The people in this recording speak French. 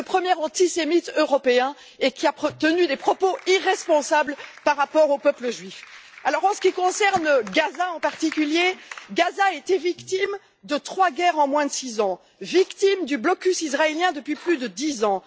Orbán, qui est le premier antisémite européen et qui a tenu des propos irresponsables sur le peuple juif. En ce qui concerne Gaza en particulier, ce territoire a été victime de trois guerres en moins de six ans, vit sous blocus israélien depuis plus de dix ans.